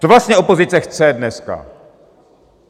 Co vlastně opozice chce dneska?